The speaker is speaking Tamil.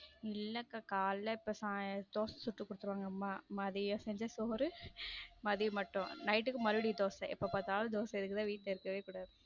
இல்லக்கா காலையில இப்ப தோசை சுட்டுக் கொடுத்துருவாங்க அம்மா மதியம் செஞ்ச சோறு மதியம் மட்டும் night க்கு மறுபடியும் தோசை எப்ப பார்த்தாலும் தோசை இதுக்குத்தான் வீட்ல இருக்கவே கூடாது.